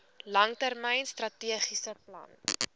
langtermyn strategiese plan